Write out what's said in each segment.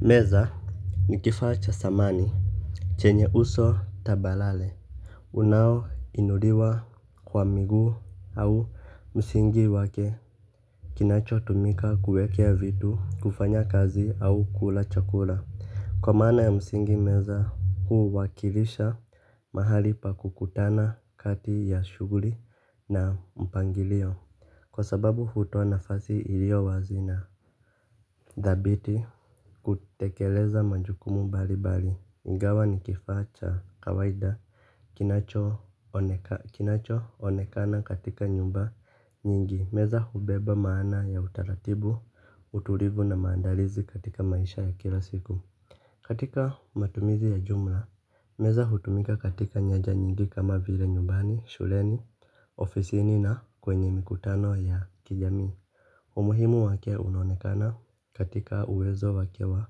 Meza ni kifaa cha samani. Chenye uso tabalale unaoinuliwa kwa miguu au msingi wake kinachotumika kuekea vitu kufanya kazi au kula chakula. Kwa maana ya msingi meza huwakilisha mahali pa kukutana kati ya shuguli na mpangilio. Kwa sababu hutoa nafazi ilio wazi na dhabiti kutekeleza majukumu mbali mbali ingawa ni kifaa cha kawaida. Kinacho onekana katika nyumba nyingi. Meza hubeba maana ya utaratibu, utulivu na maandalizi katika maisha ya kila siku. Katika matumizi ya jumla meza hutumika katika nyeja nyingi kama vile nyumbani, shuleni, ofisi ni na kwenye mikutano ya kijami. Umuhimu wake unonekana katika uwezo wakewa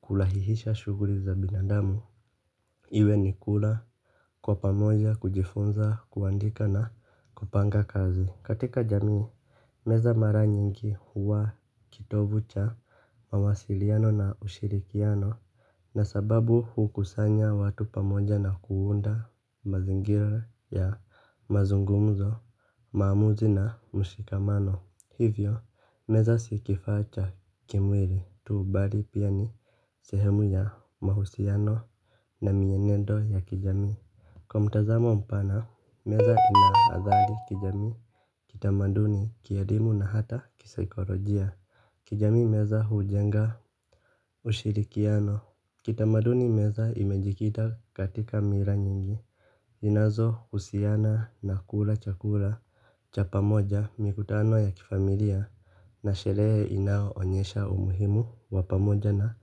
kulahihisha shuguri za binadamu. Iwe ni kula kwa pamoja kujifunza kuandika na kupanga kazi. Katika jamii meza mara nyingi huwa kitovu cha mawasiliano na ushirikiano. Na sababu hukusanya watu pamoja na kuunda mazingira ya mazungumzo. Mamuzi na mshikamano. Hivyo meza sikifacha kimwiri tu bali pia ni sehemu ya mahusiano na mienendo ya kijami. Kwa mutazamo mpana, meza ina athali kijami, kitamaduni, kielimu na hata kisaikolojia. Kijami meza hujenga ushirikiano. Kitamaduni meza imejikita katika mira nyingi zinazo usiana na kula chakula, cha pamoja mikutano ya kifamilia. Na shere inao onyesha umuhimu wa pamoja na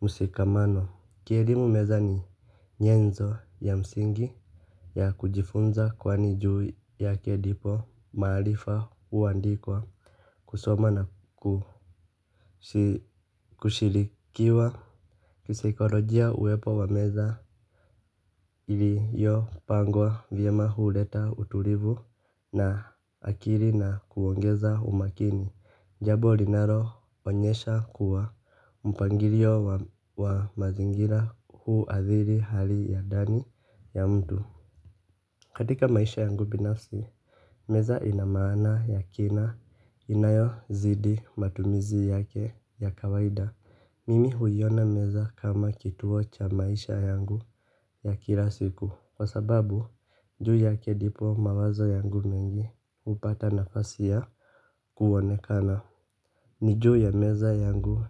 musikamano. Kierimu meza ni nyenzo ya msingi ya kujifunza kwani juu yake ndipo mahalifa uandikwa kusoma na kushilikiwa. Kisaikolojia uwepo wa meza ili yo pangwa vyema huleta utulivu na akiri na kuongeza umakini. Jabo linaro onyesha kuwa mpangirio wa mazingira huu athiri hali ya dani ya mtu. Katika maisha yangu binafsi. Meza inamana ya kina inayo zidi matumizi yake ya kawaida. Mimi huyona meza kama kituo cha maisha yangu ya kila siku. Kwa sababu juu yake dipo mawazo yangu mengi upata nafasi ya kuwonekana. Niju ya meza yangu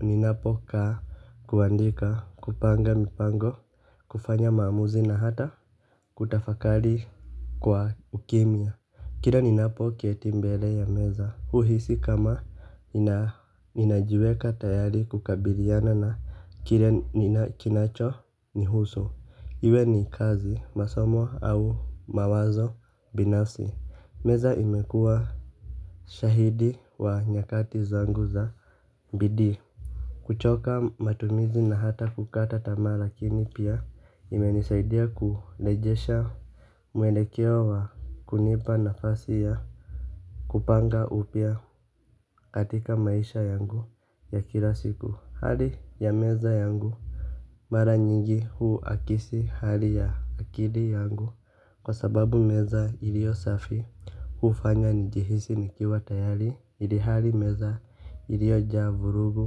ninapoka kuandika kupanga mipango kufanya maamuzi na hata kutafakali kwa ukimia. Kira ninapokieti mbele ya meza uhisi kama inajueka tayari kukabiliana na kinacho ni huso. Iwe ni kazi masomo au mawazo binasi. Meza imekua shahidi wa nyakati zangu za mbidi. Kuchoka matumizi na hata kukata tama lakini pia imenisaidia kulejesha mwelekewo wa kunipa nafasi ya kupanga upia katika maisha yangu ya kila siku hali ya meza yangu. Mara nyingi huu akisi hali ya akili yangu. Kwa sababu meza ilio safi huufanya nijihisi nikiwa tayari ili hali meza ilio javurugu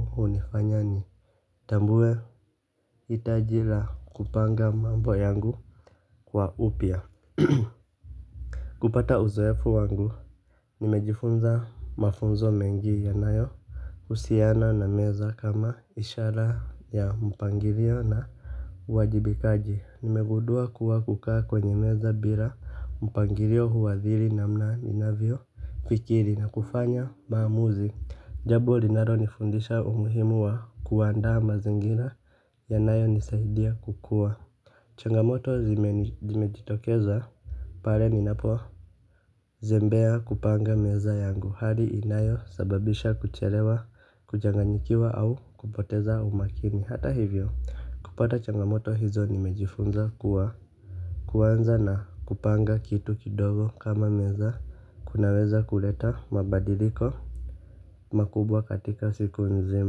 hunifanya ni tambue itajira kupanga mambo yangu kwa upia. Kupata uzoefu wangu nimejifunza mafunzo mengi yanayo husiana na meza kama ishara ya mpangilio na uwajibikaji nimegundua kuwa kuka kwenye meza bila mpangalio huathiri namna ninavyo fikiri na kufanya maamuzi. Jabo linaro nifundisha umuhimu wa kuwaanda ma zingira yanayo nisaidia kukua. Changamoto zimejitokeza, pale ninapo zembea kupanga meza yangu, hali inayo sababisha kucherewa, kujanganyikiwa au kupoteza umakini, hata hivyo. Kupata changamoto hizo nimejifunza kuwa kuwanza na kupanga kitu kidogo kama meza kunaweza kuleta mabadiliko. Makubwa katika siku nzima.